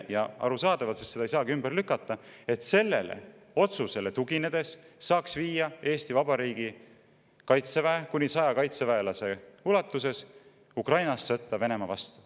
Ja arusaadavalt seda ei saagi ümber lükata, et sellele otsusele tuginedes saaks viia Eesti Vabariigi kaitseväe kuni 100 kaitseväelasega Ukrainasse sõtta Venemaa vastu.